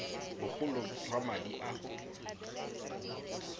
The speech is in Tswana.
bogolo jwa madi a o